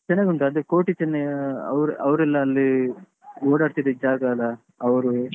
ಚೆನ್ನಾಗುಂಟು ಅದೇ ಕೋಟಿಚೆನ್ನಯ್ಯ ಅವ್ರ್ ಅವ್ರೆಲ್ಲ ಅಲ್ಲಿ ಓಡಾಡ್ತಿದಿದ್ದು ಜಾಗ ಅಲಾ ಅವ್ರು.